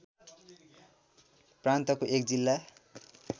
प्रान्तको एक जिल्ला